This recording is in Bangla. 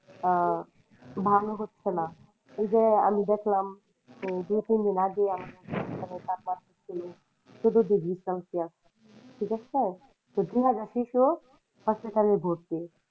আহ ভালো হচ্ছে না এই যে আমি দেখলাম দু তিন দিন আগে ঠিক আছে? hospital এ ভর্তি।